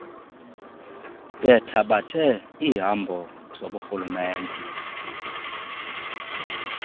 bethabathe iihambo zoburhulumente